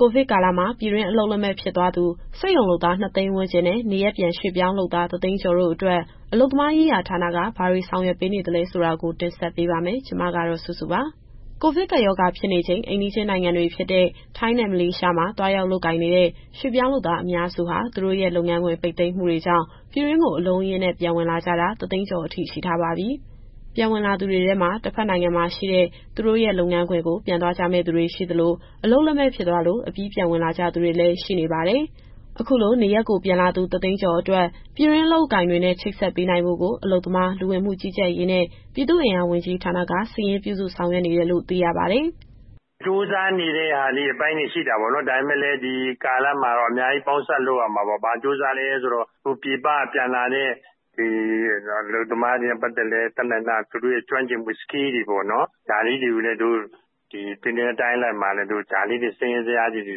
ကိုဗစ်ကာလမှာ ပြည်တွင်းအလုပ်လက်မဲ့ ဖြစ်သွားသူ စက်ရုံလုပ်သား ၂၀၀,၀၀၀ ဝန်းကျင်နဲ့ နေရပ်ပြန် ရွှေ့ပြောင်းလုပ်သား ၁၀၀,၀၀၀ ကျော်တို့အတွက် အလုပ်သမားရေးရာဌာနက ဘာတွေဆောင်ရွက်ပေးနေလဲဆိုတာကို ဗွီအိုအေမြန်မာပိုင်းသတင်းထောက် မစုစုက တင်ဆက်ပေးပါမယ်။ ကိုဗစ်ကပ်ရောဂါဖြစ်နေချိန် အိမ်နီးချင်းနိုင်ငံတွေဖြစ်တဲ့ ထိုင်းနဲ့ မလေးရှားမှာ သွားရောက်လုပ်ကိုင်နေတဲ့ ရွှေ့ပြောင်းလုပ်သားအများစုဟာ သူတို့ရဲ့လုပ်ငန်းခွင် ပိတ်သိမ်းမှုတွေကြောင့် ပြည်တွင်းကို အလုံးအရင်းနဲ့ ပြန်ဝင်လာကြတာ ၁၀၀,၀၀၀ ကျော် ရှိထားပါပြီ။ ပြန်ဝင်လာသူတွေထဲမှာ တဘက်နိုင်ငံမှာရှိတဲ့ သူတို့ရဲ့လုပ်ငန်းခွင်ကို ပြန်သွားကြမယ့်သူတွေရှိသလို၊ အလုပ်လက်မဲ့ဖြစ်သွားလို့ အပြီးပြန်ဝင်လာကြသူတွေလည်း ရှိနေပါတယ်။ အခုလို နေရပ်ကိုပြန်လာသူ ၁၀၀,၀၀၀ ကျော်အတွက် ပြည်တွင်းအလုပ်အကိုင်တွေနဲ့ ချိတ်ဆက်ပေးနိုင်ဖို့ကို အလုပ်သမား၊ လူဝင်မှုကြီးကြပ်ရေးနဲ့ ပြည်သူ့အင်အားဝန်ကြီးဌာနက စာရင်းပြုစုဆောင်ရွက်နေတယ်လို့ သိရပါတယ်။ “ကြိုးစားနေတဲ့အပိုင်းတွေ ရှိတာပေါ့နော်။ ဒါပေမဲ့လည်း ဒီကာလမှာတော့ အများကြီးပေါင်းစပ်လုပ်ရမှာပေါ့။ ဘာကြိုးစားလည်းဆိုတော့ အခုပြည်ပကပြန်လာတဲ့ အလုပ်သမားတွေနဲ့ပတ်သက်လို့ သူတို့ရဲ့ကျွမ်းကျင်မှုတွေကို ပြည်နယ်နဲ့တိုင်းအလိုက် စာရင်းဇယားတွေ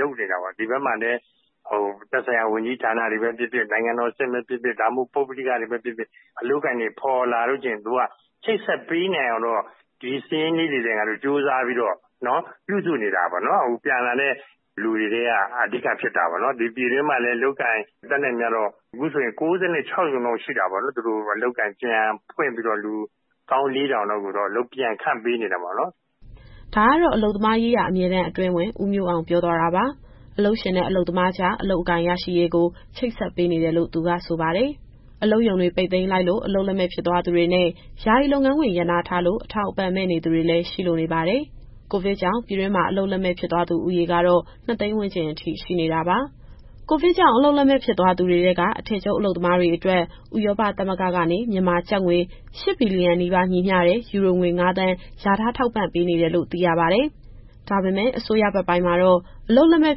လုပ်နေတာပေါ့။ သက်ဆိုင်ရာဝန်ကြီးဌာနတွေပဲဖြစ်ဖြစ်၊ နိုင်ငံတော်အဆင့်ပဲဖြစ်ဖြစ်၊ ပုဂ္ဂလိကပဲဖြစ်ဖြစ် အလုပ်အကိုင်တွေဖော်လာလို့ရှိရင် ချိတ်ဆက်ပေးနိုင်အောင် ကြိုးစားပြီး စာရင်းပြုစုနေတာပေါ့နော်။ ဒီပြည်တွင်းမှာလည်း အခုဆိုရင် ၉၆ ရုံလောက်ရှိတာပေါ့။ သူတို့အလုပ်အကိုင်ပြန်ဖွင့်ပြီး လူ ၁၄,၀၀၀ လောက် အလုပ်ပြန်ခန့်ပေးနေတာပေါ့နော်။” ဒါကတော့ အလုပ်သမားရေးရာ အမြဲတမ်းအတွင်းဝန် ဦးမျိုးအောင်ပြောသွားတာပါ။ အလုပ်ရှင်အလုပ်သမားကြား အလုပ်အကိုင်ရရှိရေးကို ချိတ်ဆက်ပေးနေတယ်လို့ သူကဆိုပါတယ်။ အလုပ်ရုံတွေ ပိတ်သိမ်းလိုက်လို့ အလုပ်လက်မဲ့ဖြစ်သွားသူတွေနဲ့ ယာယီလုပ်ငန်းခွင်ရပ်နားထားလို့ အထောက်အပံ့မဲ့နေသူတွေလည်း ရှိလို့နေပါတယ်။ ကိုဗစ်ကြောင့် ပြည်တွင်းမှာ အလုပ်လက်မဲ့ဖြစ်သွားသူဦးရေကတော့ ၂၀၀,၀၀၀ ဝန်းကျင်အထိရှိနေတာပါ။ ကိုဗစ်ကြောင့်အလုပ်လက်မဲ့ ဖြစ်သွားသူတွေထဲက အထည်ချုပ်အလုပ်သမားတွေအတွက် ဥရောပသမဂ္ဂကနေ မြန်မာကျပ်ငွေ ၈ ဘီလီယံ နီးပါးညီမျှတဲ့ ယူရိုငွေ ၅,၀၀၀,၀၀၀ လျာထား ထောက်ပံ့ပေးနေတယ်လို့ သိရပါတယ်။ ဒါပေမယ့် အစိုးရဘက်ပိုင်းမှာတော့ အလုပ်လက်မဲ့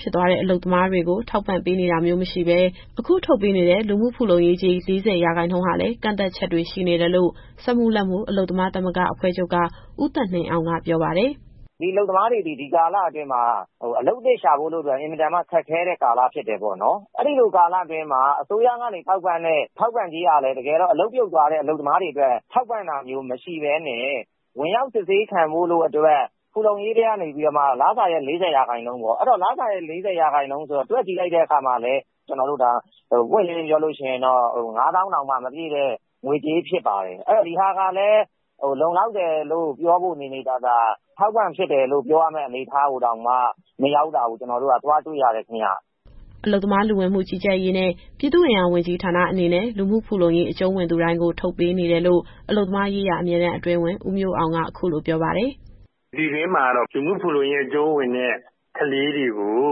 ဖြစ်သွားတဲ့ အလုပ်သမားတွေကို ထောက်ပံ့ပေးနေတာမျိုး မရှိဘဲ အခုထုတ်ပေးနေတဲ့ လူမှုဖူလုံရေးကြေး ၄၀ ရာခိုင်နှုန်းဟာလည်း ကန့်သတ်ချက်တွေရှိနေတယ်လို့ စက်မှုလက်မှု အလုပ်သမားသမဂ္ဂအဖွဲ့ချုပ်က ဦးသက်နှင်းအောင်က ပြောပါတယ်။ “အလုပ်သမားတွေသည် ဒီကာလအတွင်းမှာ အလုပ်သစ်ရှာဖို့ဆိုတာ အင်မတန်ခက်ခဲတဲ့ကာလ ဖြစ်တယ်ပေါ့နော်။ အဲဒီလိုကာလအတွင်းမှာ အစိုးရကနေထောက်ပံ့တဲ့ ထောက်ပံ့ကြေးဟာလည်း တကယ်တော့အလုပ်ပြုတ်သွားတဲ့ အလုပ်သမားတွေအတွက် ထောက်ပံ့တာမရှိဘဲနဲ့ ဝင်ရောက်စစ်ဆေးခံဖို့အတွက် ဖူလုံရေးထဲကနေပြီးမှ လစာရဲ့ ၄၀ရာခိုင်နှုန်းပေါ့။ အဲတော့ တွက်ကြည့်လိုက်တဲ့အခါမှာလည်း ကျနော်တို့ပွင့်ပွင့်လင်းလင်းပြောရရင်တော့ ၅၀,၀၀၀ တောင်မပြည့်တဲ့ ငွေကြေးဖြစ်ပါတယ်။ ဒီဟာကလည်း လုံလောက်တယ်လို့ပြောဖို့ နေနေသာသာ အထောက်အပံ့ဖြစ်တယ်လို့ ပြောရမယ့်အနေအထားကိုတောင်မှ မရောက်တာကို ကျနော်တို့က သွားတွေ့ရတယ်ခင်ဗျ။” အလုပ်သမား၊ လူဝင်မှုကြီးကြပ်ရေးနဲ့ ပြည်သူ့အင်အားဝန်ကြီးဌာန အနေနဲ့ လူမှုဖူလုံရေး အကျုံးဝင်သူတိုင်းကို ထုတ်ပေးနေတယ်လို့ အလုပ်သမားရေးရာ အမြဲတမ်းအတွင်းဝန် ဦးမျိုးအောင်က အခုလိုပြောပါတယ်။ “ပြည်တွင်းမှာတော့ လူမှုဖူလုံရေးအကျုံးဝင်သူတွေကို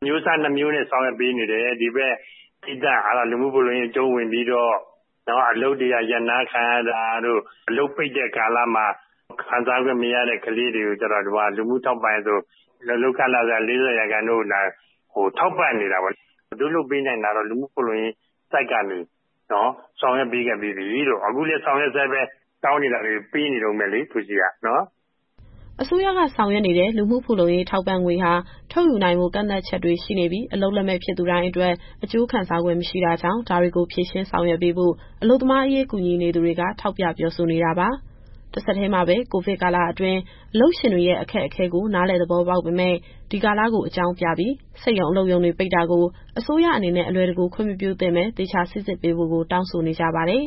အမျိုးအစား နှစ်မျိုးနဲ့ ဆောင်ရွက်ပေးနေတယ်။ လူမှုဖူလုံရေး အကျုံးဝင်ပြီးတော့ အလုပ်ရပ်နားခံရတာတို့၊ အလုပ်ပိတ်တဲ့ကာလမှာ ခံစားခွင့်မရသူတွေကိုကျတော့ လူမှုထောက်ပံ့ရေး လုပ်ခလစာ ၄၀ ရာခိုင်နှုန်းကို ထောက်ပံ့နေတာပေါ့။ တို့တွေလုပ်ပေးနိုင်တာကတော့ လူမှုဖူလုံရေး ဆောင်ရွက်ပေးခဲ့ပြီးပြီ။ အခုလည်းဆောင်ရွက်ဆဲပဲ။ တောင်းနေတာတွေ ပေးနေတုန်းပဲလေနော်။” အစိုးရကဆောင်ရွက်နေတဲ့ လူမှုဖူလုံရေးထောက်ပံ့ငွေဟာ ထုတ်ယူနိုင်ဖို့ ကန့်သတ်ချက်တွေရှိနေပြီး အလုပ်လက်မဲ့ဖြစ်သူတိုင်းအတွက် အကျိုးခံစားခွင့် မရှိတာကြောင့် ဒါတွေကိုဖြေရှင်းဆောင်ရွက်ပေးဖို့ အလုပ်သမားရေးကူညီနေသူတွေက ထောက်ပြပြောဆိုနေတာပါ။ တဆက်တည်းမှာပဲ ကိုဗစ်ကာလအတွင်း အလုပ်ရှင်တွေရဲ့ အခက်အခဲကိုနားလည် သဘောပေါက်ပေမယ့် ဒီကာလကိုအကြောင်းပြပြီး စက်ရုံ၊ အလုပ်ရုံတွေ ပိတ်တာကို အစိုးရအနေနဲ့ အလွယ်တကူခွင့် မပြုသင့်ဘဲ သေချာစိစစ်ပေးဖို့ကို တောင်းဆိုနေကြပါတယ်။